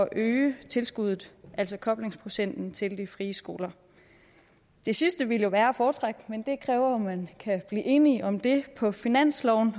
øge tilskuddet altså koblingsprocenten til de frie skoler det sidste ville være at foretrække men det kræver jo at man kan blive enige om det på finansloven